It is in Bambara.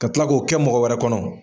Ka tila k'o kɛ mɔgɔ wɛrɛ kɔnɔ.